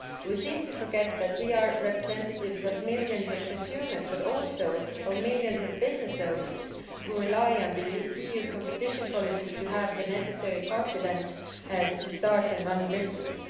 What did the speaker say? We seem to forget that we are representatives of millions of consumers but also of millions of business owners who rely on the EU competition policy to have the necessary confidence to start and run businesses.